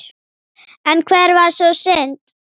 En hver var sú synd?